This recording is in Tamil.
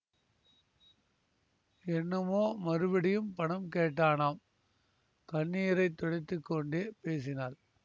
என்னமோ மறுபடியும் பணம் கேட்டானாம் கண்ணீரை துடைத்து கொண்டே பேசினாள்